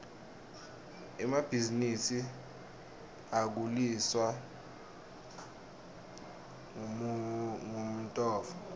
emabhisinisi akhuliswa ngumnotfo